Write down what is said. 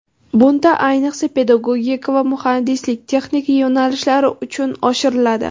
Bunda, ayniqsa, pedagogika va muhandislik-texnika yo‘nalishlari uchun oshiriladi.